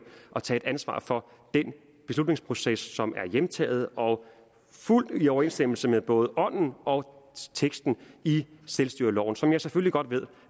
og tage ansvar for den beslutningsproces som er hjemtaget og fuldt i overensstemmelse med både ånden og teksten i selvstyreloven som jeg selvfølgelig godt ved